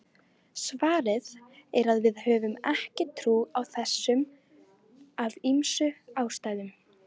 Svarið er að við höfum ekki trú á þessu af ýmsum ástæðum.